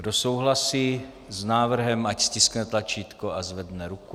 Kdo souhlasí s návrhem, ať stiskne tlačítko a zvedne ruku.